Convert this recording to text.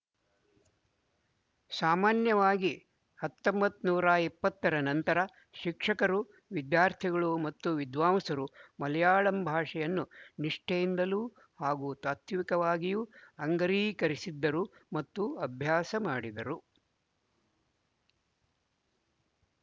ಸಾಮಾನ್ಯವಾಗಿ ಹತೊಂಬತನೂರ ಇಪ್ಪತ್ತರ ನಂತರ ಶಿಕ್ಷಕರು ವಿದ್ಯಾರ್ಥಿಗಳು ಮತ್ತು ವಿದ್ವಾಂಸರು ಮಲಯಾಳಂ ಭಾಷೆಯನ್ನು ನಿಷ್ಠೆಯಿಂದಲೂ ಹಾಗೂ ತಾತ್ವಿಕವಾಗಿಯೂ ಅಂಗೀಕರಿಸಿದ್ದರು ಮತ್ತು ಅಭ್ಯಾಸ ಮಾಡಿದರು